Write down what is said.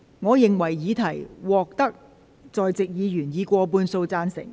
我認為議題獲得在席議員以過半數贊成。